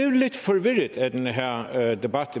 lidt forvirret af den her her debat